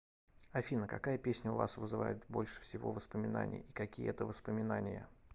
афина какая песня у вас вызывает больше всего воспоминаний и какие это воспоминания